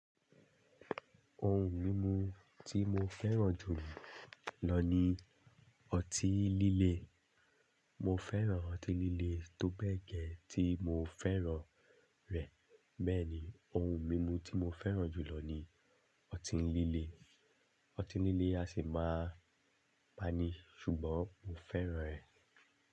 Ohun mímu tí mo fẹ́ràn jù lọ ní ọtí líle. Mo fẹ́ràn ọtí líle tóbẹ́ẹ̀ gẹ́ tí mo fẹ́ràn rẹ̀. Bẹ́ẹ̀ni, ohun mímu tí mo fẹ́ràn jù lọ ní ọtí líle. Ọtí líle a sì máa pani ṣùgbọ́n mo fẹ́ràn rẹ̀.